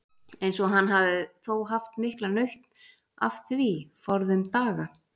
Eins og hann hafði þó haft mikla nautn af því forðum daga.